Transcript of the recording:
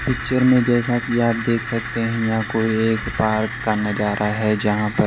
picture में जैसा कि आप देख सकते हैं यहां कोई एक पार्क का नजारा है जहां पर--